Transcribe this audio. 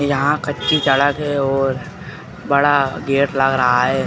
यहाँ कच्ची सड़क है और बड़ा गेट लग रहा है।